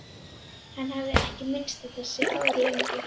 Hann hafði ekki minnst á þessi ár lengi.